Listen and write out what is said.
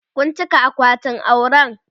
Kun cika akwatin auren?